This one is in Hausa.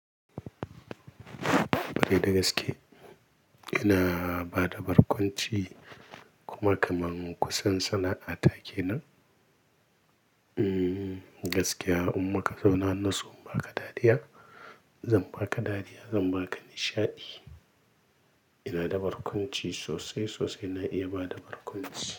Kwarai da gaske ina bada barkwanci kuma kaman kusan sana'a ta kenan. Mm, gaskiya umma ka zauna nasu ba ka dariya, zan ba ka dariya, zan ba ka nishaɗi. Ina da barkwanci sosai, sosai na iya bada barkwanci.